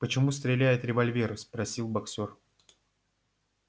почему стреляет револьвер спросил боксёр